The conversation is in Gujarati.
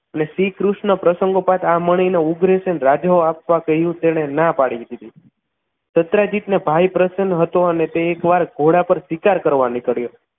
અને શ્રીકૃષ્ણ પ્રસંગો બાદ આ મણીનો ઉગ્ર સીલ રાજા એ આપવા કહ્યું તેણે ના પાડી દીધી દત્રાજીત ના ભાઈ પ્રસન્ન હતો અને તે એકવાર ઘોડા પર શિકાર કરવા નીકળ્યો